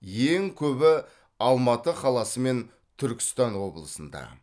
ең көбі алматы қаласы мен түркістан облысында